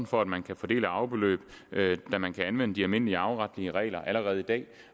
for at man kan få del i arvebeløb da man kan anvende de almindelige arveretlige regler allerede i dag